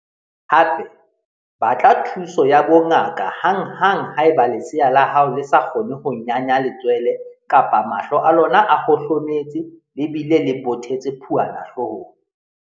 Hape, batla thuso ya bongaka hanghang haeba lesea la hao le sa kgone ho nyanya letswele kapa mahlo a lona a hohlometse le bile le bothetse phuana hloohong.